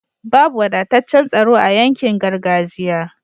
Babu wadataccan tsaro a yankin gargajiya